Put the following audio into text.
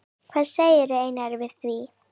Hvað segir Einar við því?